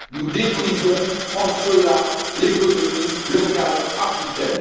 nous détruisons en cela l'économie locale africaine.